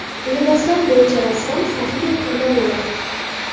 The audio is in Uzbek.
Liboslar bo‘yicha rassom Sofiya Kamolova.